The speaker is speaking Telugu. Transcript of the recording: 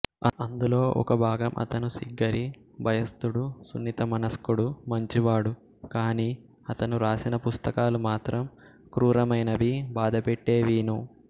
అందులో ఒక భాగం అతను సిగ్గరి భయస్తుడు సున్నితమనస్కుడు మంచివాడు కానీ అతను రాసిన పుస్తకాలు మాత్రం క్రూరమైనవీ బాధపెట్టేవీను